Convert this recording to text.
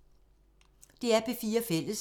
DR P4 Fælles